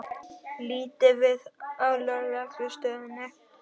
Líta við á Lögreglustöðinni.